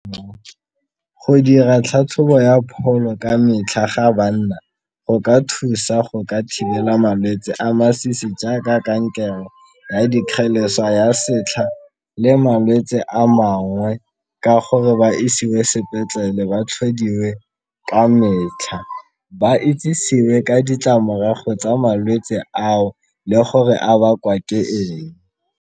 Go dira tlhatlhobo ya pholo ka metlha ga banna go ka thusa go ka thibela malwetse a masisi jaaka kankere ya dikgeleswa ya setlha le malwetse a mangwe ka gore ba isiwe sepetlele ba tlhodiwe ka metlha, ba itsisiwe ka ditlamorago tsa malwetse ao le gore a bakwa ke eng.